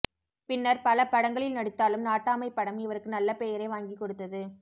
பின்னர் பல படங்களில் நடித்தாலும் நாட்டமை படம் இவருக்கு நல்ல பெயரை வாங்கி கொடுத்தது